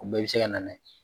O bɛɛ bɛ sɛ ka nana ye.